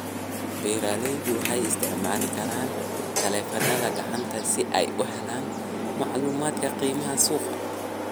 Beeraleydu waxay isticmaali karaan taleefannada gacanta si ay u helaan macluumaadka qiimaha suuqa.